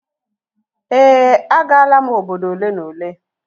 Ee, agaala m obodo ole na ole